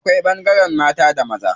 Akwai ɓangaren mata da maza.